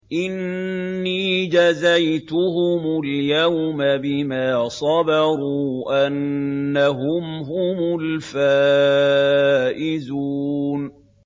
إِنِّي جَزَيْتُهُمُ الْيَوْمَ بِمَا صَبَرُوا أَنَّهُمْ هُمُ الْفَائِزُونَ